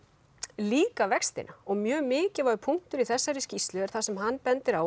líka vextina mjög mikilvægur punktur í þessari skýrslu er það sem hann bendir á